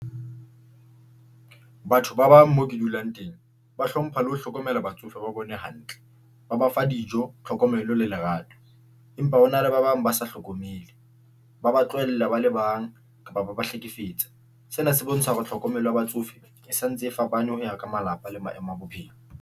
Batho ba bang moo ke dulang teng. Ba hlompha le ho hlokomela batsofe ba bone hantle, ba ba fa dijo, tlhokomelo le lerato empa hona le ba bang ba sa hlokomele, ba ba tlohella ba le bang kapa ba ba hlekefetsa. Sena se bontsha hore tlhokomelo ya batsofe e sa ntse e fapane ho ya ka malapa le maemo a bophelo.